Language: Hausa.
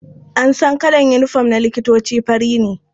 An san kalar unifom na likitoci fari ne.